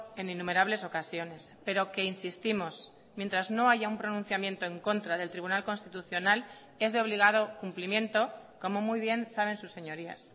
en innumerables ocasiones pero que insistimos mientras no haya un pronunciamiento en contra del tribunal constitucional es de obligado cumplimiento como muy bien saben sus señorías